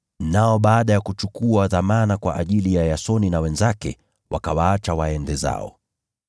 Nao baada ya kuchukua dhamana kwa ajili ya Yasoni na wenzake wakawaacha waende zao.